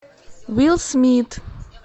уилл смит